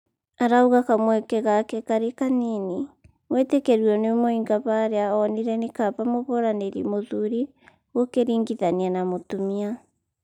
arauga kamweke gake kari kanini gwĩtĩkĩrwo nĩ mũinga haria onire nĩ kaba mũhũranĩri mũthuri gũkĩringithanio na mĩtumia